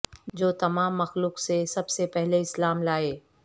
جو تمام مخلوق سے سب سے پہلے اسلام لائے